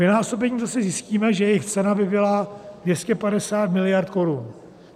Vynásobením zase zjistíme, že jejich cena by byla 250 mld. korun.